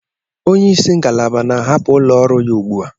Onye isi ngalaba na-ahapụ ụlọ ọrụ ya ugbu a.